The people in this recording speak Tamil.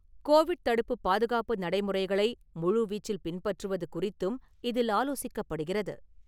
கோவிட் தடுப்பு, பாதுகாப்பு நடைமுறைகளை முழுவீச்சில் பின்பற்றுவது குறித்தும் இதில் ஆலோசிக்கப்படுகிறது.